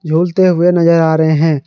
झूलते हुए नजर आ रहे हैं।